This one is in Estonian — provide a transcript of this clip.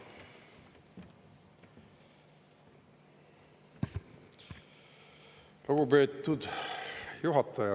Lugupeetud juhataja!